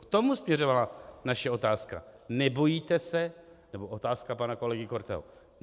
K tomu směřovala naše otázka, nebo otázka pana kolegy Korteho.